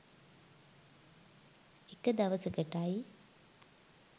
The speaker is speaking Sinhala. එක දවසකටයි.